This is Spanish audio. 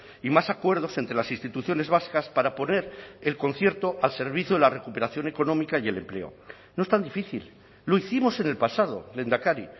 y más acuerdos entre las instituciones vascas para poner el concierto al servicio de la recuperación económica y el empleo no es tan difícil lo hicimos en el pasado lehendakari